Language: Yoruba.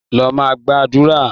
Lọ máa gbàdúrà!